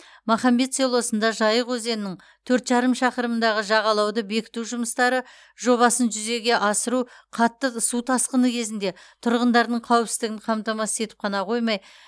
махамбет селосында жайық өзенінің төрт жарым шақырымындағы жағалауды бекіту жұмыстары жобасын жүзеге асыру қатты су тасқыны кезінде тұрғындардың қауіпсіздігін қамтамасыз етіп қана қоймай